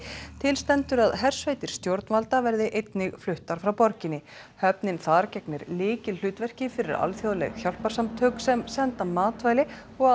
til stendur að hersveitir stjórnvalda verði einnig fluttar frá borginni höfnin þar gegnir lykilhlutverki fyrir alþjóðleg hjálparsamtök sem senda matvæli og